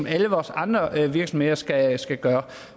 alle vores andre virksomheder skal skal gøre